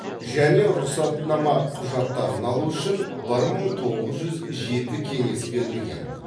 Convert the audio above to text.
және рұқсатнама құжаттарын алу үшін бір мың тоғыз жүз жеті кеңес берілген